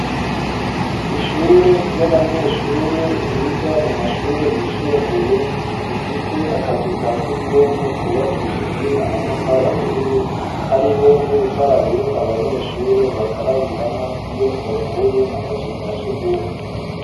Ishure ry'abanyeshure biga mu mashure yisumbuye bifise akazu ka sugumwe kubakishijwe amatafari aturiye hariho n'urukarabiro abanyeshure bakarabiramwo iyo bavuye mu kazu ka sugumwe